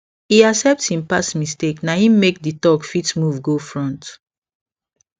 e accept hin past mistakes na hin make the talk fit move go front